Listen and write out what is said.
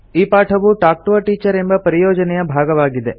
ಈ ಪಾಠವು talk to a teacher ಎಂಬ ಪರಿಯೋಜನೆಯ ಭಾಗವಾಗಿದೆ